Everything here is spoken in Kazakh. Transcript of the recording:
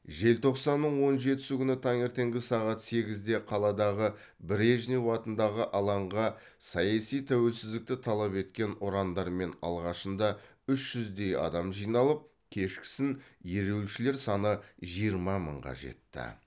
желтоқсанның он жетісі күні таңертеңгі сағат сегізде қаладағы брежнев атындағы алаңға саяси тәуелсіздікті талап еткен ұрандармен алғашында үш жүздей адам жиналып кешкісін ереуілшілер саны жиырма мыңға жетті